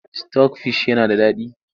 Sitok fish yana da daɗi.